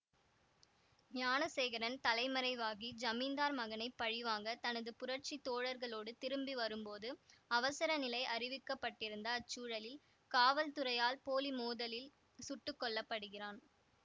ஞானசேகரன் தலைமறைவாகி ஜமீந்தார் மகனை பழிவாங்க தனது புரட்சி தோழர்களோடு திரும்பி வரும்போது அவசரநிலை அறிவிக்க பட்டிருந்த அச்சூழலில் காவல்துறையால் போலிமோதலில் சுட்டு கொல்ல படுகிறான்